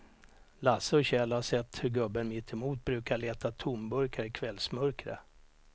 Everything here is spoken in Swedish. Lasse och Kjell har sett hur gubben mittemot brukar leta tomburkar i kvällsmörkret.